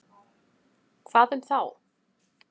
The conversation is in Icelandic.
Hvað um þá?